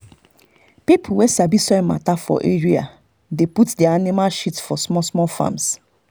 people wey sabi soil matter for area dey put their animal shit for small small farms.